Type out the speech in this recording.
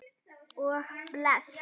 Og blæs.